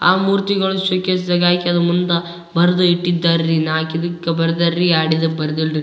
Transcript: ಆ ಮೂರ್ತಿಗಳು showcase ದಾಗ್ ಹಾಕಿ ಅದ್ರ ಮುಂದ ಬರೆದು ಇಟ್ಟಿದ್ದಾರ್ರೀ ನಾಕ್ ಇದಕ್ ಬರ್ದಾರ್ರೀ ಎರಡ್ ಇದಕ್ ಬರ್ದಿಲ್ರಿ.